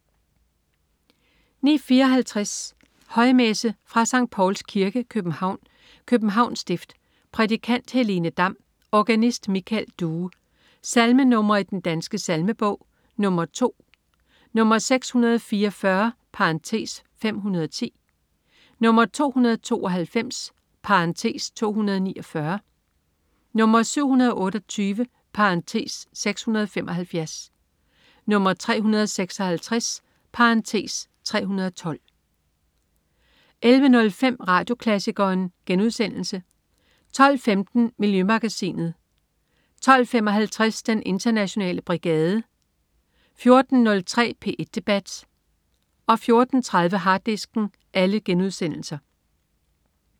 09.54 Højmesse. Fra Sct. Pauls Kirke, København, Københavns Stift. Prædikant: Helene Dam. Organist: Michael Due. Salmenr. i Den Danske Salmebog: 2 (2), 644 (510), 292 (249), 728 (675), 356 (312) 11.05 Radioklassikeren* 12.15 Miljømagasinet* 12.55 Den internationale brigade* 14.03 P1 debat* 14.30 Harddisken*